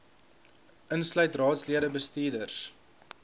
insluit raadslede bestuurders